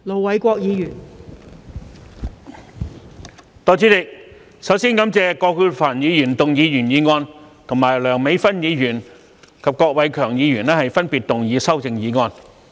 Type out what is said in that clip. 代理主席，首先感謝葛珮帆議員提出原議案，以及梁美芬議員和郭偉强議員提出修正案。